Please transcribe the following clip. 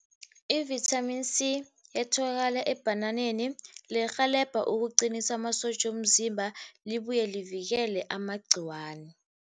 I-vitamin C etholakala ebhananeni lirhelebha ukuqinisa amasotja womzimba libuye livikele amagciwana.